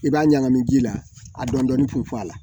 I b'a ɲagami ji la a dɔnni foyi tɛ fɔ a la